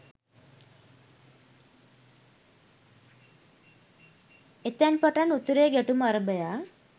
එතැන් පටන් උතුරේ ගැටුම අරභයා